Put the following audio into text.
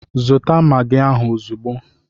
Zụta magi ahụ ozugbo!